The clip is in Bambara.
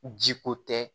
Ji ko tɛ